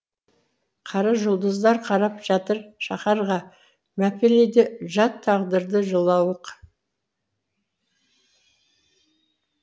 қара жұлдыздар қарап жатыр шаһарға мәпелейді жат тағдырды жылауық